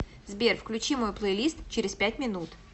сбер включи мой плейлист через пять минут